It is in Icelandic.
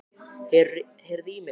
Heyriði í mér?